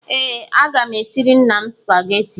Ee, aga m esiri nna m Supagetii